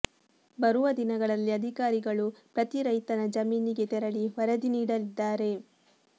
ಬರುವ ದಿನಗಳಲ್ಲಿ ಅಧಿಕಾರಿಗಳು ಪ್ರತಿ ರೈತನ ಜಮೀನಿಗೆ ತೆರಳಿ ವರದಿ ನೀಡಲಿದ್ದಾರೆ